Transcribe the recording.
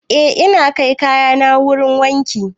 Eh ina kai kayana wurin wanki